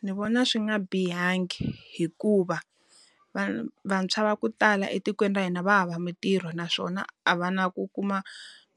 Ndzi vona swi nga bihangi hikuva, va va vantshwa va ku tala etikweni ra hina va hava mintirho naswona a va na ku kuma